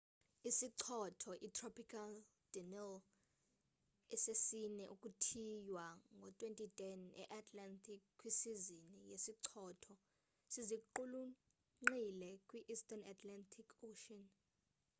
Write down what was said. isichotho itropical danielle esesine ukuthiywa ngo 2010 e-atlantic kwisizini yezichotho siziqulunqile kwi-eastern atlantic ocean